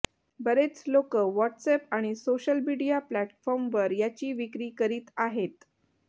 बरेच लोक व्हॉट्सअॅप आणि सोशल मीडिया प्लॅटफॉर्मवर याची विक्री करीत आहेत